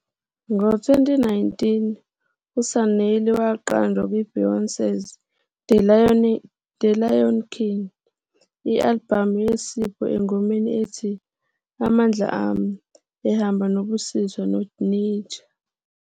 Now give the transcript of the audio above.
Ngo-2019, uSanelly waqanjwa kwi-Beyonce's The Lion King- I-albhamu yeSipho engomeni ethi "Amandla Ami" ehamba noBusiswa noNija.